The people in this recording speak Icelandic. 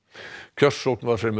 kjörsókn var fremur